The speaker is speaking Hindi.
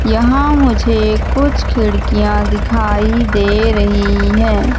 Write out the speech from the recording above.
यहां मुझे कुछ खिड़कियां दिखाई दे रहीं हैं।